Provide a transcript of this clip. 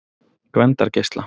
Gvendargeisla